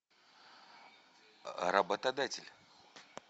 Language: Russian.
работодатель